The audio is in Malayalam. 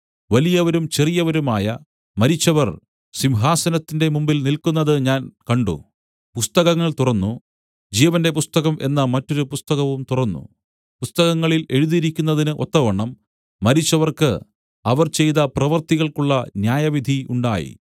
വലിയവരും ചെറിയവരുമായ മരിച്ചവർ സിംഹാസനത്തിന്റെ മുമ്പിൽ നില്ക്കുന്നതു ഞാൻ കണ്ട് പുസ്തകങ്ങൾ തുറന്നു ജീവന്റെ പുസ്തകം എന്ന മറ്റൊരു പുസ്തകവും തുറന്നു പുസ്തകങ്ങളിൽ എഴുതിയിരുന്നതിന് ഒത്തവണ്ണം മരിച്ചവർക്ക് അവർ ചെയ്ത പ്രവൃത്തികൾക്കുള്ള ന്യായവിധി ഉണ്ടായി